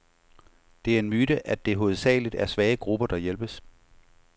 Det er en myte, at det hovedsageligt er svage grupper, der hjælpes.